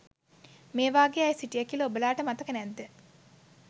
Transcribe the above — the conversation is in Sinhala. මේ වගේ අය සිටිය කියල ඔබලාට මතක නැද්ද?